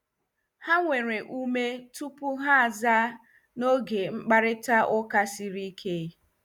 Ha were ume tupu ha azaa n'oge mkparịta ụka siri ike.